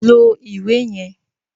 Lo iwe yẹn!